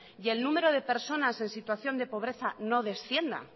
y el número de personas en situación de pobreza no descienda